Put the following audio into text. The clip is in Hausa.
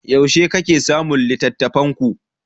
Yaushe kake samun littattafanku?